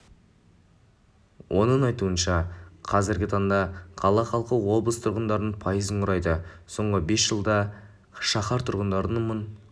оның айтуынша қазіргі таңда қала халқы облыс тұрғындарының пайызын құрайды соңғы бес жылда шаһар тұрғындары мың